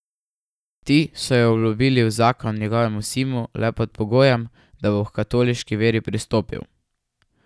Ti so jo obljubili v zakon njegovemu sinu le pod pogojem, da bo h katoliški veri pristopil.